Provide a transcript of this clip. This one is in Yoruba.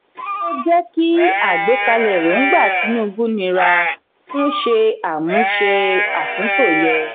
kí o jẹ kí àgbékalẹ̀ èròngbà tinubu nira fún ṣe àmúse atunto yẹ.